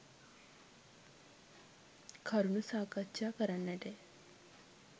කරුණු සාකච්ඡා කරන්නට ය.